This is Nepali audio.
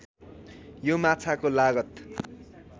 यो माछाको लागत